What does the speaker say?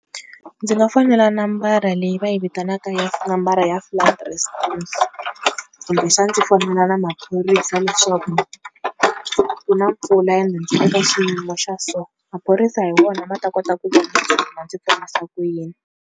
Ndzi nga foyinela nambara leyi va yi vitanaka ya nambara ya kumbe xani ndzi fonela na maphorisa leswaku ku na mpfula ya ene ndzi le ka xiyimo xa so, maphorisa hi wona ma ta kota vona ndzi ponisa ku yini.